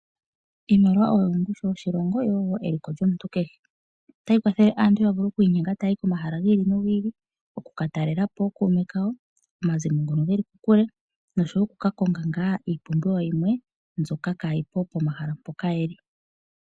Iimaliwa oyo ongushu yoshilongo oshowo eliko lyomuntu kehe. Otayi kwathele aantu ya vule okwiinyenga okuya komahala gi ili nogi ili, oku ka talela po ookuume kawo, omazimo ngono geli kokule nenge oku ka konga ngaa iipumbiwa yimwe mbyoka kaayi po pomahala mpoka ye li.